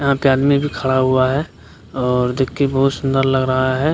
यहाँ पे आदमी भी खड़ा हुआ है और देख के बहुत सुंदर लग रहा है।